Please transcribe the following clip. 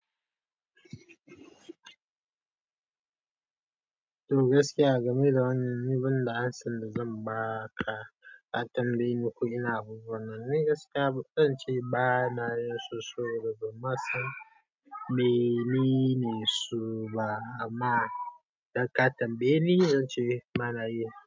Toh gaskiya a game da wannan ni ban da amsar da zan ba ka, ka tambaye ni ko ina abubuwan nan ni gaskiya zan ce ba na yin saboda ban ma san menene su ba amma idan ka tambaye ni zan ce ba na yi.